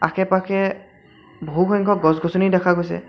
আশে-পাশে বহুসংখ্যক গছ-গছনি দেখা গৈছে।